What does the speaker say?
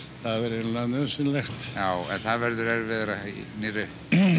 eiginlega nauðsynlegt það verður erfiðara í nýju